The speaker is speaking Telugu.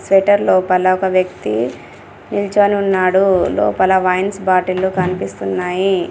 షట్టర్ లోపల ఒక వ్యక్తి నిల్చొనున్నాడు లోపల వైన్స్ బాటిల్లు కన్పిస్తున్నాయి.